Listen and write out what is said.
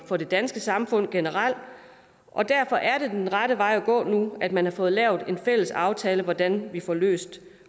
for det danske samfund generelt og derfor er det den rette vej at gå nu at man har fået lavet en fælles aftale for hvordan vi får løst